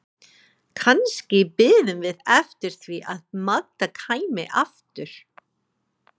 Kannski biðum við eftir því að Magda kæmi aftur.